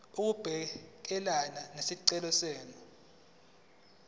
ukubhekana nesicelo senu